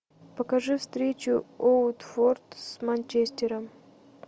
покажи встречу уотфорд с манчестером